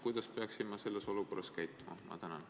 Kuidas peaksin ma selles olukorras käituma?